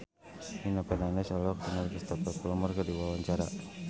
Nino Fernandez olohok ningali Cristhoper Plumer keur diwawancara